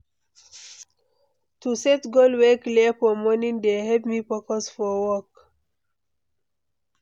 To set goal wey clear for morning dey help me focus for work.